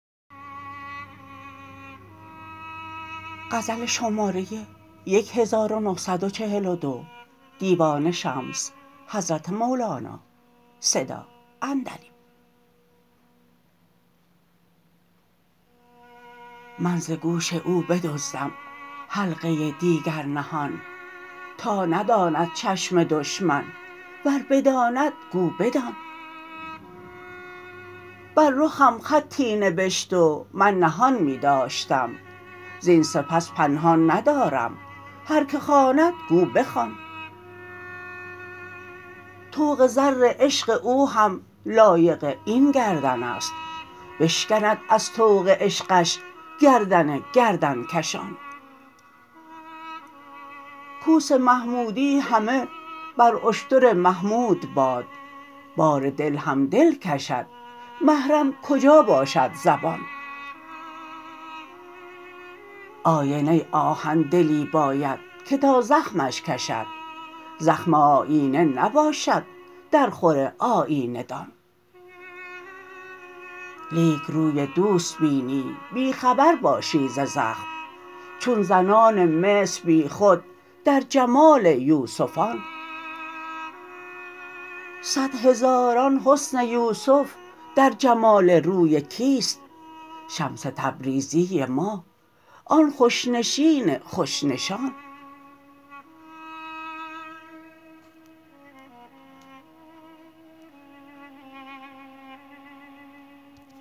من ز گوش او بدزدم حلقه دیگر نهان تا نداند چشم دشمن ور بداند گو بدان بر رخم خطی نبشت و من نهان می داشتم زین سپس پنهان ندارم هر کی خواند گو بخوان طوق زر عشق او هم لایق این گردن است بشکند از طوق عشقش گردن گردن کشان کوس محمودی همه بر اشتر محمود باد بار دل هم دل کشد محرم کجا باشد زبان آینه آهن دلی باید که تا زخمش کشد زخم آیینه نباشد درخور آیینه دان لیک روی دوست بینی بی خبر باشی ز زخم چون زنان مصر بیخود در جمال یوسفان صد هزاران حسن یوسف در جمال روی کیست شمس تبریزی ما آن خوش نشین خوش نشان